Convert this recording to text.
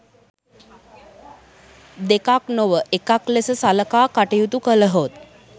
දෙකක් නොව එකක් ලෙස සලකා කටයුතු කළහොත්